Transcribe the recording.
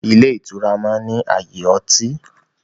Ilé ìtura máa ń ní ààyè ọtí.